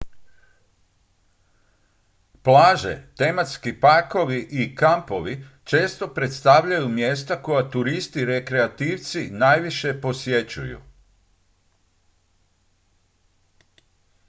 plaže tematski parkovi i kampovi često predstavljaju mjesta koja turisti rekreativci najviše posjećuju